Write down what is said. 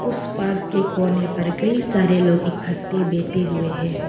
इस पार्क के कोने पर कई सारे लोग इकट्ठे बैठे हुए है।